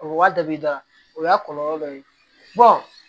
O waa dabi da o y'a kɔlɔlɔ dɔ ye